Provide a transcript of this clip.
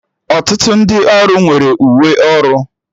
Ọtụtụ ndị ọrụ nwere uwe ọrụ